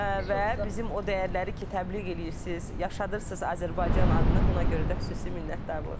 Və bizim o dəyərləri ki, təbliğ eləyirsiz, yaşadılırsız Azərbaycan adını, buna görə də xüsusi minnətdarlıq.